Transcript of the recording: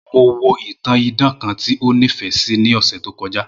Mo wo itan idan kan ti o nifẹ si ni ọsẹ to kọja